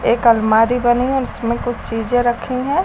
एक अलमारी बनी है और उसमें कुछ चीजे रखी हैं।